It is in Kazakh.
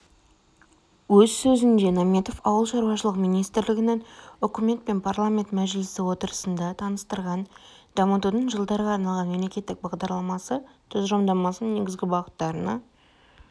өз сөзінде наметов ауыл шаруашылығы министрлігінің үкімет пен парламент мәжілісі отырысында таныстырған дамытудың жылдарға арналған мемлекеттік бағдарламасы тұжырымдамасының негізгі бағыттарына